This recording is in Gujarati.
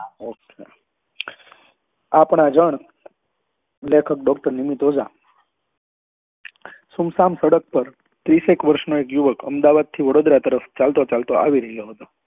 Okay આપણા જન લેખક doctor નીમત ઓજા સુમસાન સડક પર ત્રીસ એક વર્ષ નો એક યુવક અમદાવાદ થી વડોદરા તરફ ચાલતો ચાલતા આવી રહ્યો હતો